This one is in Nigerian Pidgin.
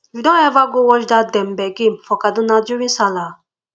you don ever go watch dat dembe game for kaduna during sallah